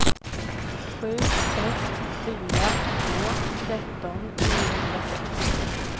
sju ett fyra två tretton niohundrasex